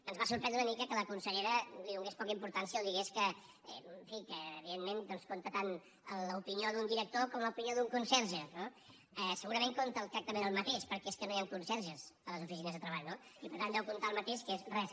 ens va sorprendre una mica que la consellera hi donés poca importància o digués que en fi que evidentment doncs compta tant l’opinió d’un director com l’opinió d’un conserge eh segurament compta exactament el mateix perquè és que no hi han conserges a les oficines de treball no i per tant deu comptar el mateix que és res